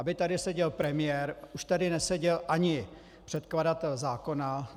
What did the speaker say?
Aby tady seděl premiér, už tady neseděl ani předkladatel zákona...